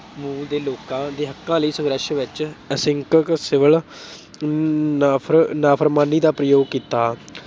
ਮੁਲਕ ਦੇ ਲੋਕਾਂ ਦੇ ਹੱਕਾਂ ਲਈ ਸੰਘਰਸ਼ ਵਿੱਚ ਅਹਿੰਸਕ civil ਨਾ ਅਹ ਨਾਫਰਮਾਨੀ ਦਾ ਪ੍ਰਯੋਗ ਕੀਤਾ।